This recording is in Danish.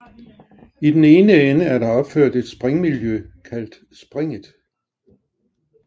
I den ene ende er der opført et springmiljø kaldet Springet